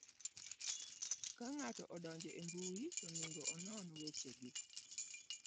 Ka ng'ato odonjo e mbui, to onego onon wechegi: